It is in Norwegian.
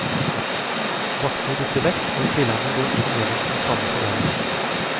Vaktene dytter vekk, og spillerne går inn gjennom den samme tunnelen.